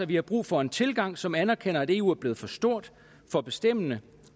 vi har brug for en tilgang som anerkender at eu er blevet for stort for bestemmende